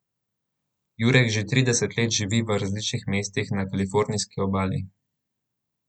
Jurek že trideset let živi v različnih mestih na kalifornijski obali.